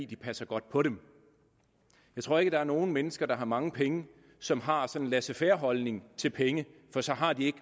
de passer godt på dem jeg tror ikke der er nogle mennesker der har mange penge som har sådan en laissez faire holdning til penge for så har de